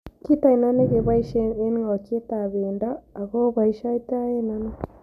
Kiit ainon ne keboisien eng' ngokietap pendo ago oboisioytoen ano